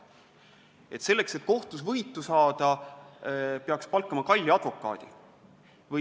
Ja selleks, et kohtus võitu saada, peaks palkama kalli advokaadi.